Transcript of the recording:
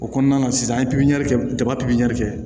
O kɔnɔna na sisan an ye pipiniyɛri kɛ jaba pipiniyɛri